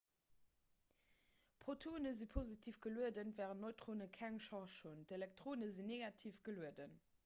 protonen si positiv gelueden wärend neutrone keng charge hunn d'elektronen sinn negativ gelueden